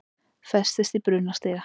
Festist í brunastiga